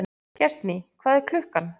Gestný, hvað er klukkan?